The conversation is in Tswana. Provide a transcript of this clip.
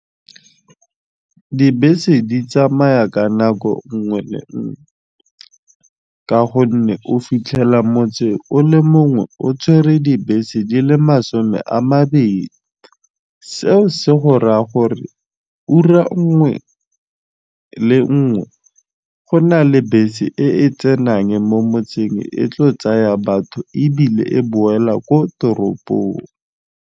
Dibese di tsamaya ka nako nngwe le nngwe ka gonne o fitlhela motse o le mongwe o tshwere dibese di le masome a mabedi, seo se go raya gore ura nngwe le nngwe go na le bese e e tsenang mo motseng e tlo tsaya batho ebile e boela ko toropong.